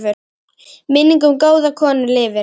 Minning um góða konu lifir.